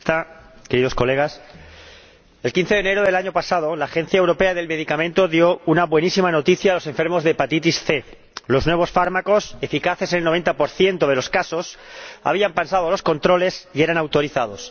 Señora Presidenta, queridos colegas, el 15 de enero del año pasado la Agencia Europea de Medicamentos dio una buenísima noticia a los enfermos de hepatitis C los nuevos fármacos, eficaces en el 90 de los casos, habían pasado los controles y eran autorizados.